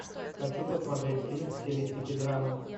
хочу посмотреть фильм в стилистике драмы